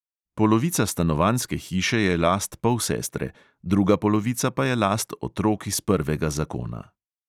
Polovica stanovanjske hiše je last polsestre, druga polovica pa je last otrok iz prvega zakona.